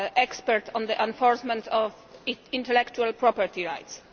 experts on the enforcement of intellectual property rights.